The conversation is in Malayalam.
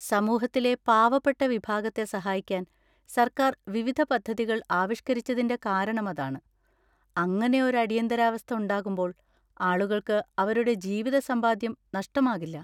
സമൂഹത്തിലെ പാവപ്പെട്ട വിഭാഗത്തെ സഹായിക്കാൻ സർക്കാർ വിവിധ പദ്ധതികൾ ആവിഷ്‌കരിച്ചതിന്‍റെ കാരണം അതാണ്; അങ്ങനെ ഒരു അടിയന്തരാവസ്ഥ ഉണ്ടാകുമ്പോൾ, ആളുകൾക്ക് അവരുടെ ജീവിത സമ്പാദ്യം നഷ്ടമാകില്ല.